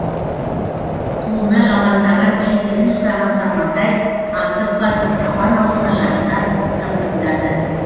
қолына жалаңдаған кездігін ұстаған сармантай аңдып басып апан аузына жақындап тың тыңдады